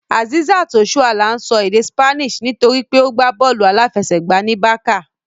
Azeezat Osoala ń sọ èdè Spanish nítorí pé ó gbá bọ́ọ̀lù aláfẹsẹ̀gbá ní Barça